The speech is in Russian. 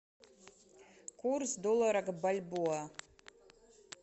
курс доллара к бальбоа